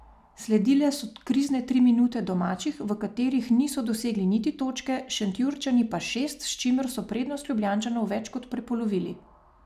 Sledile so krizne tri minute domačih, v katerih niso dosegli niti točke, Šentjurčani pa šest, s čimer so prednost Ljubljančanov več kot prepolovili.